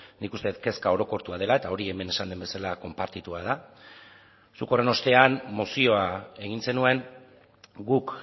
nik uste dut kezka orokortua dela eta hori hemen esan den bezala konpartitua da zuk horren ostean mozioa egin zenuen guk